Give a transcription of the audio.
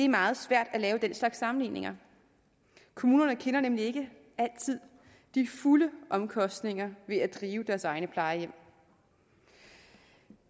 meget svært at lave den slags sammenligninger kommunerne kender nemlig ikke altid de fulde omkostninger ved at drive deres egne plejehjem